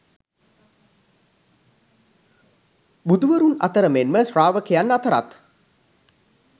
බුදුවරුන් අතර මෙන්ම ශ්‍රාවකයන් අතරත්